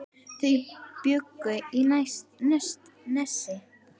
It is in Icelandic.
Þau bjuggu í Nesi.